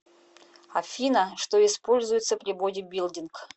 афина что используется при бодибилдинг